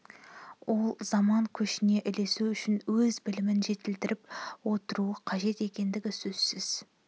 ол заман көшіне ілесу үшін өз білімін жетілдіріп отыруы қажет екендігі сөзсіз